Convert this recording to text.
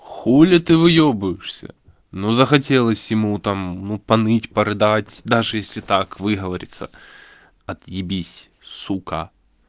хули ты выёбываешься ну захотелось ему там ну поныть порыдать даже если так выговориться отъебись сука